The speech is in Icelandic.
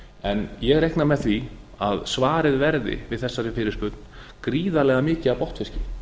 en ég reikna með því að svarið við þessari fyrirspurn verði gríðarlega mikið af botnfiski